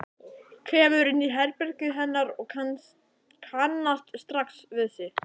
Kemur inn í herbergið hennar og kannast strax við sig.